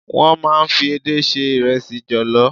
Wọ́n máa ń fi edé se ìrẹsì jọ̀lọ́.